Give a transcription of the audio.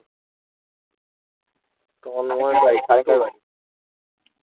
Tanmoy টাই